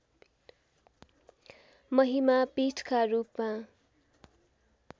महिमा पीठका रूपमा